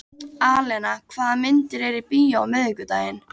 Alena, hvaða myndir eru í bíó á miðvikudaginn?